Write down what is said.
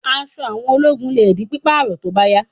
Aṣọ àwọn ológun lè di pípààrọ̀ tó bá yá